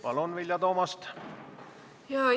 Palun, Vilja Toomast!